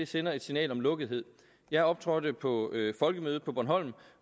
sender et signal om lukkethed jeg optrådte på folkemødet på bornholm